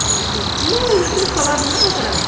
Falou assim, não, ele não tem falado nada para mim.